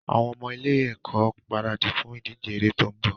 Àwọn ọmọ ilé-ẹ̀kọ́ ń gbaradì fún ìdíje eré tó ń bọ̀.